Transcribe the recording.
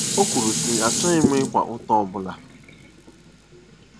O kwuru, sị: “Achọghị m ịkwa ụta ọ bụla.